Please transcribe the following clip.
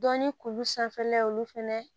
Dɔnni kulu sanfɛla ye olu fɛnɛ